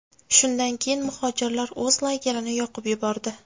Shundan keyin muhojirlar o‘z lagerini yoqib yubordi.